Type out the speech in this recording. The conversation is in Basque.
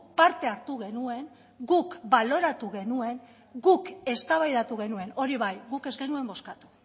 parte hartu genuen guk baloratu genuen guk eztabaidatu genuen hori bai guk ez genuen bozkatu